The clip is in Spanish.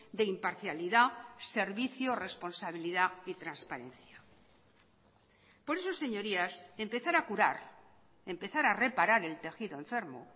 de imparcialidad servicio responsabilidad y transparencia por eso señorías empezar a curar empezar a reparar el tejido enfermo